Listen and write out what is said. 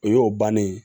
O y'o bannen ye